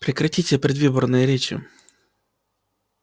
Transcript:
прекратите предвыборные речи